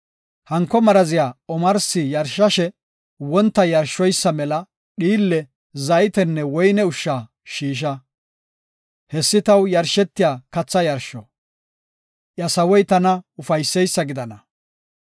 Hanko maraziya omarsi yarshashe wonta yarshoysa mela dhiille, zaytenne woyne ushsha shiisha. Hessi taw yarshetiya katha yarsho; iya sawoy tana ufayseysa gidana.